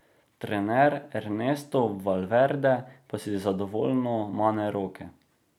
Trener Ernesto Valverde pa si zadovoljno mane roke.